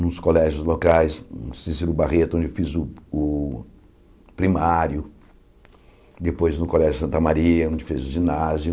nos colégios locais, em Cícero Barreto, onde fiz o o primário, depois no Colégio Santa Maria, onde fiz o ginásio.